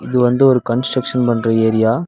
இது வந்து ஒரு கன்ஸ்டிரக்ஷன் பண்ற ஏரியா .